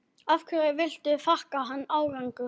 Hverju viltu þakka þann árangur?